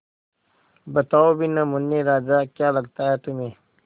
बताओ भी न मुन्ने राजा क्या लगता है तुम्हें